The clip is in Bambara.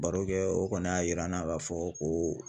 Barokɛ o kɔni y'a yira n na k'a fɔ ko